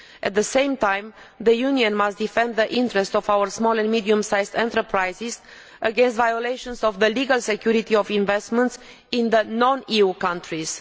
At the same time, the Union must defend the interests of our small and medium sized enterprises against violations of the legal security of investments in non EU countries.